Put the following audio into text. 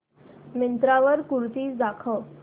मिंत्रा वर कुर्तीझ दाखव